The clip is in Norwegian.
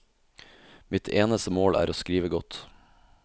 Mitt eneste mål er å skrive godt.